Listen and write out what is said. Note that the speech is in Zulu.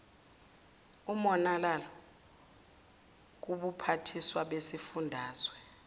umonalalo kubuphathiswa besifundazwe